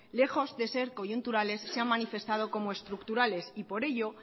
lejos de ser coyunturales se han manifestado como estructurales y por ello